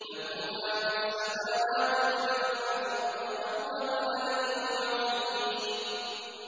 لَهُ مَا فِي السَّمَاوَاتِ وَمَا فِي الْأَرْضِ ۖ وَهُوَ الْعَلِيُّ الْعَظِيمُ